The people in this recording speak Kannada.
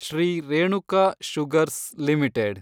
Shri Renuka sugars limited